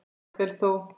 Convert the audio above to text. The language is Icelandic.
Jafnvel þó